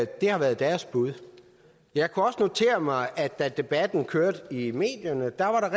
det har været deres bud jeg kunne også notere mig at da debatten kørte i medierne var der